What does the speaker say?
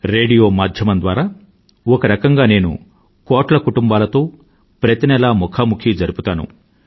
radio మాధ్యమం ద్వారా ఒక రకంగా నేను కోట్ల కుటుంబాలతో ప్రతి నెలా ముఖాముఖి జరుపుతాను